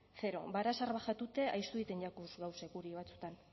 zero ahaztu egiten jakuz gauzak guri batzuetan